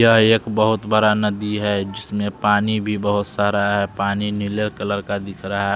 यह एक बहुत बड़ा नदी है जिसमें पानी भी बहुत सारा है पानी नीले कलर का दिख रहा है।